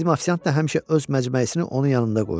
Bizim ofisiant da həmişə öz məcməyisini onun yanında qoyur.